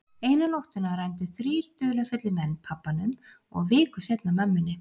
Eina nóttina rændu þrír dularfullir menn pabbanum og viku seinna mömmunni.